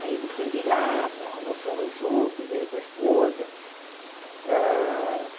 Aí ele esteve lá, almoçamos juntos, ele com a esposa. Hã